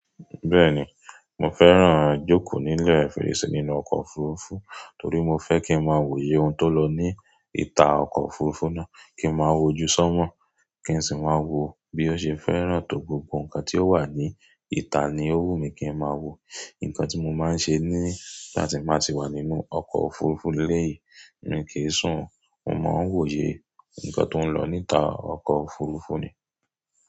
Bẹ́ẹ̀ni, mo fẹ́ràn jókòó nílẹ̀ fèrèsé nínú ọkọ̀ òfurufú torí mo fẹ́ kí n máa wòye ohun tó lọ ní ìta ọkọ̀ òfurufú náà kí n máa wojú sọ́mọ̀, kí n sì máa wo bí ó ṣe fẹ́ràn tó gbogbo nǹkan tí ó wà ní ìta ni ó wù mí kí n máa wo. Ǹkan tí mo máa ń ṣe nígbà tí n bá tì wà nínú ọkọ̀ òfurufú lélè yi, mi kìí sùn, mo máa ń wòye nǹkan tó ń lọ níta ọkọ̀ òfurufú ni.